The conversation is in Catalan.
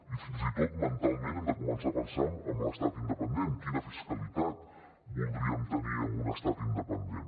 i fins i tot mentalment hem de començar a pensar en l’estat independent quina fiscalitat voldríem tenir en un estat independent